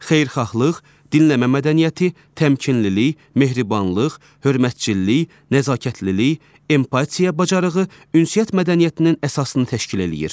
Xeyirxahlıq, dinləmə mədəniyyəti, təmkinlilik, mehribanlıq, hörmətçilik, nəzakətlilik, empatiya bacarığı ünsiyyət mədəniyyətinin əsasını təşkil eləyir.